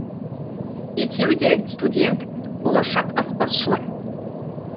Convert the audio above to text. екеуі де студент болашақ аспазшылар